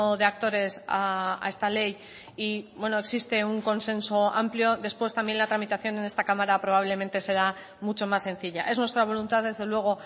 de actores a esta ley y existe un consenso amplio después también la tramitación en esta cámara probablemente será mucho más sencilla es nuestra voluntad desde luego